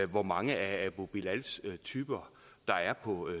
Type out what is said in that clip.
hvor mange af abu bilals typer der er på